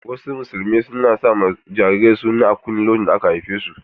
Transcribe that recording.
Wasu musulmia na sa ma jarirai suna a kunne randa aka haife su.